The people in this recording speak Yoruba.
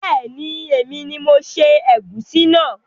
Beeni, èmi ni mo se ègúsí náà